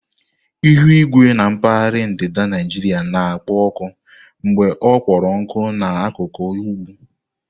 Ihu igwe na mpaghara ndịda Naijiria na-ekpo ọkụ mgbe ọ kpọrọ nkụ na n'akuku ugwu.